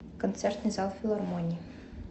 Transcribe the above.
концертный зал филармонии